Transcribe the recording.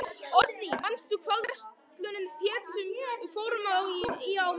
Oddný, manstu hvað verslunin hét sem við fórum í á miðvikudaginn?